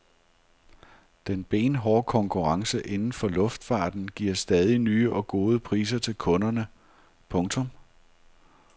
Den benhårde konkurrence inden for luftfarten giver stadig nye og gode priser til kunderne. punktum